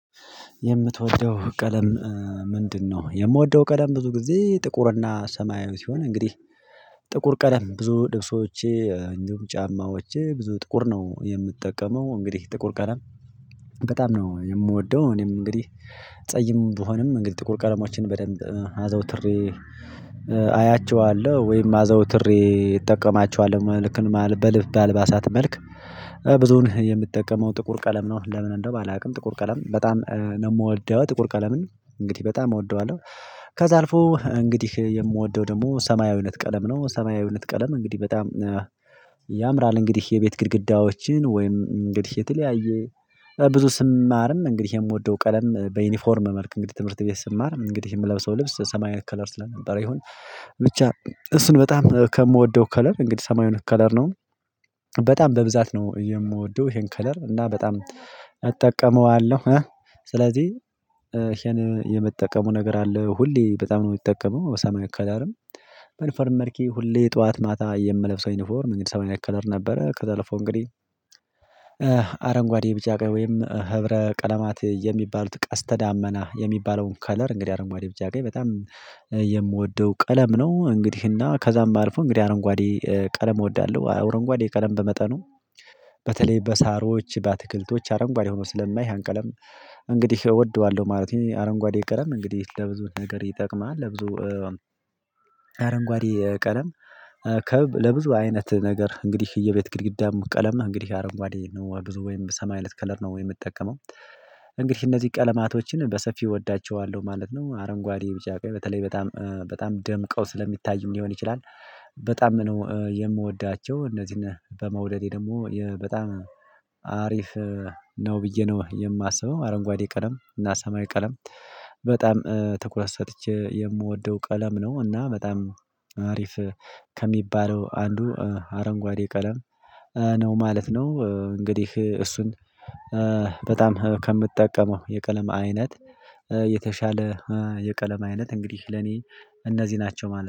የምትወደው ቀለም ምንድነው? የምወደው ቀለም ብዙ ጊዜ ጥቁርና ሰማያዊ ሲሆን እንግዲህ ጥቁር ቀለም ብዙ ልብሶቼ እንግዲህ ጫማዎቼ ብዙ ጥቁር ነው የምጠቀመው። እንግዲህ ጥቁር ቀለም በጣም ነው የምወደው። እኔም እንግዲህ ጸይም ብሆንም እንግዲህ ጥቁር ቀለሞችን በደንብ አዘውትሬ አያቸዋለሁ ወይም አዘውትሬ እጠቀማቸዋለሁ። መልክን በልብ በአልባሳት መልክ ብዙን የምትጠቀመው ጥቁር ቀለም ነው። ለምን እንደው አላውቅም ጥቁር ቀለም በጣም ነው የምወደው። ጥቁር ቀለምን እንግዲህ በጣም እወደዋለሁ። ከዛ አልፎ እንግዲህ የምወደው ደግሞ ሰማያዊነት ቀለም ነው። ሰማያዊነት ቀለም እንግዲህ በጣም ያምራል። እንግዲህ የቤት ግድግዳዎችን ወይም እንግዲህ የተለያየ ብዙ ስማርም እንግዲህ የምወደው ቀለም በዩኒፎርም መልክ እንግዲህ ትምህርት ቤት ስማር እንግዲህ የምለብሰው ልብስ ሰማያዊ ከለር ስለነበረ ይሁን ብቻ እሱን በጣም ከምወደው ከለር እንግዲህ ሰማያዊን ከለር ነው። በጣም በብዛት ነው የምወደው ይሄን ከለር እና በጣም አጠቀመዋለሁ። ስለዚህ ይሄን የምጠቀመው ነገር አለ። ሁሌ በጣም ነው የምጠቀመው በሰማይ ከለርን በዩኒፎርም መልክ ሁሌ ጠዋት ማታ የምለብሰው ዩኒፎርም እንግዲህ ሰማያዊነት ከለር ነበረ። ከዛ ለፎ እንግዲህ አረንጓዴ ቢጫ ወይም ህብረ ቀለማት የሚባሉት ቀስተ ዳመና የሚባለውን ከለር እንግዲህ አረንጓዴ ቢቻ ቀይ በጣም የምወደው ቀለም ነው። እንግዲህና ከዛም አልፎ እንግዲህ አረንጓዴ ቀለም እወዳለሁ። አረንጓዴ ቀለም በመጠኑ በተለይ በሳሮች በአትክልቶች አረንጓዴ ሆኖ ስለማይ ያን ቀለም እንግዲህ እወደዋለሁ ማለት ነው። አረንጓዴ ቀለም እንግዲህ ለብዙ ነገር ይጠቅማል። ለብዙ አረንጓዴ ቀለም ከብ ለብዙ አይነት ነገር እንግዲህ የቤት ግድግዳም ቀለም እንግዲህ አረንጓዴ ነው ብዙ ወይም ሰማያዊ አይነት ከለር ነው ወይም የምጠቀመው። እንግዲህ እነዚህ ቀለማቶችን በሰፊው እወዳቸዋለሁ ማለት ነው። አረንጓዴ ቢጫ ቀይ በተለይ በጣም በጣም ደምቀው ስለሚታይም ሊሆን ይችላል በጣም የምወዳቸው። እነዚህን በመውደዴ ደግሞ በጣም አሪፍ ነው ብዬ ነው የማስበው። አረንጓዴ ቀለም እና ሰማያዊ ቀለም በጣም ትኩረት ሰጥቼ የምወደው ቀለም ነው። እና በጣም አሪፍ ከሚባለው አንዱ አረንጓዴ ቀለም ነው ማለት ነው። እንግዲህ እሱን በጣም ከምጠቀመው የቀለም አይነት የተሻለ የቀለም አይነት እንግዲህ ለኔ እነዚህ ናቸው ማለት ነው።